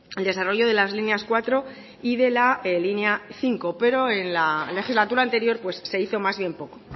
el desarrollo de las líneas cuatro y de la línea cinco pero en la legislatura anterior se hizo más bien poco